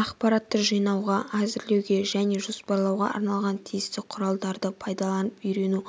ақпаратты жинауға әзірлеуге және жоспарлауға арналған тиісті құралдарды пайдаланып үйрену